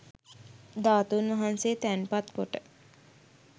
ධාතූන් වහන්සේ තැන්පත් කොට